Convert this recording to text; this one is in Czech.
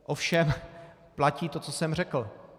Ovšem platí to, co jsem řekl.